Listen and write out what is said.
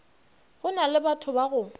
go na lebatho ba go